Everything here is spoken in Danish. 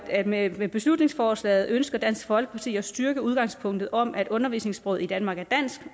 at med med beslutningsforslaget ønsker dansk folkeparti at styrke udgangspunktet om at undervisningssproget i danmark er